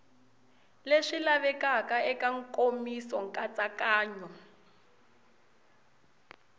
leswi lavekaka eka nkomiso nkatsakanyo